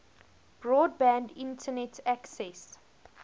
broadband internet access